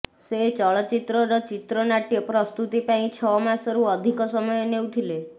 ସେ ଚଳଚ୍ଚିତ୍ରର ଚିତ୍ରନାଟ୍ୟ ପ୍ରସ୍ତୁତି ପାଇଁ ଛଅମାସରୁ ଅଧିକ ସମୟ ନେଉଥିଲେ